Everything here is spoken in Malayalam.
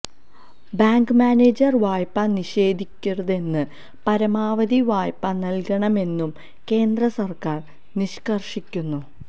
ബാങ്ക് മനേജർ വായ്പ നിഷേധിക്കരുതെന്നും പരമാവധി വായ്പ നൽകണമെന്നും കേന്ദ്ര സർക്കാർ നിഷ്കർഷിക്കുന്നു